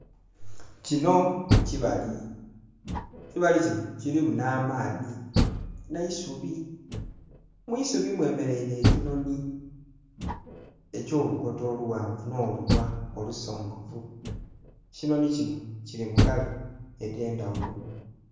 Kinho kibali, ekibali kinho kilimu nha maadhi nhe'isubi. Mwisubi mwe mereire ekinhonhi ekyo lukoto olughanvu nho lunhwa olusongovu. Ekinhonhi kinho kili mu kala endhe ndhaghulo.